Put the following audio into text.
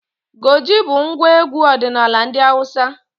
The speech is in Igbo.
Goje bụ ngwa egwu ọdinala ndị Awụsa.